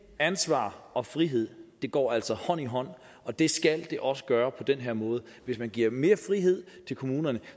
ansvar og frihed går altså hånd i hånd og det skal det også gøre på den her måde hvis man giver mere frihed til kommunerne